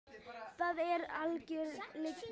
Það er algjör lygi.